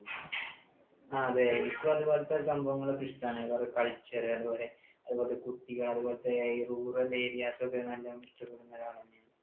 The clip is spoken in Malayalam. അതെ എനിക്കും അതുപോലെ സംഭവങ്ങളൊക്കെ ഇഷ്ടമാണ്. വേറെ culture അതുപോലെ കുട്ടികൾ അതുപോലെ ഈ rural areas ഒക്കെ നല്ല പോലെ ഇഷ്ടപ്പെടുന്ന ഒരാളാണ് ഞാൻ.